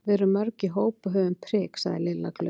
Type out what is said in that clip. Við erum mörg í hóp og höfum prik sagði Lilla glöð.